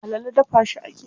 Alala dafa shi ake yi.